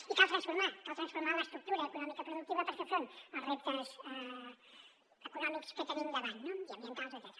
i cal transformar cal transformar l’estructura econòmica productiva per fer front als reptes econòmics que tenim davant i ambientals etcètera